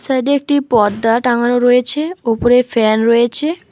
Side -এ একটি পর্দা টাঙানো রয়েছে ওপরে ফ্যান রয়েছে।